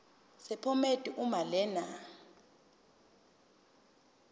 sephomedi uma lena